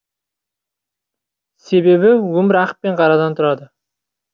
себебі өмір ақ пен қарадан тұрады